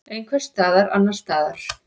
Einhvers staðar annars staðar.